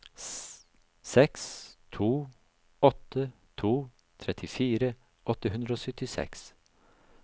seks to åtte to trettifire åtte hundre og syttiseks